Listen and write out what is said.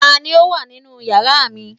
ta ni o wa ninu yara mi